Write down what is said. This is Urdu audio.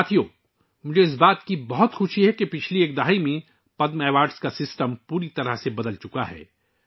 ساتھیو، مجھے بہت خوشی ہے کہ گذشتہ ایک دہائی میں پدم ایوارڈ کا نظام پوری طرح سے بدل گیا ہے